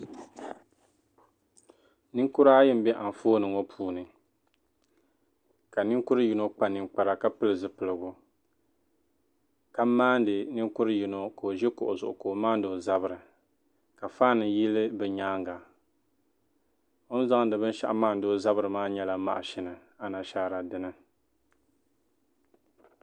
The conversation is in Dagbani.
ninkura ayi m-be anfooni ŋɔ puuni ka ninkur' yino kpa ninkpara ka pili zipiligu ka maani ninkur' yino ka o ʒi kuɣa zuɣu ka o maani o zabiri ka fan yili bɛ nyaaŋa o ni zaŋdi binshɛɣu m-maani o zabiri maa nyɛla maʒini anashaara dini